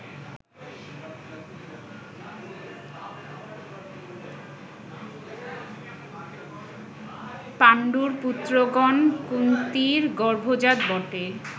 পাণ্ডুর পুত্রগণ, কুন্তীর গর্ভজাত বটে